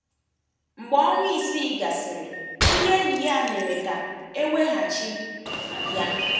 Mgbe ọnwa isii gasịrị, ndị enyi ya mere ka e weghachi ya.